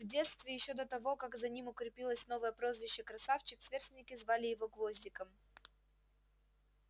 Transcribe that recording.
в детстве ещё до того как за ним укрепилось новое прозвище красавчик сверстники звали его гвоздиком